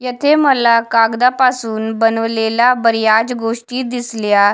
येथे मला कागदापासून बनवलेला बऱ्याच गोष्टी दिसल्या--